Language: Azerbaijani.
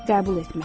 Qəbul etmək.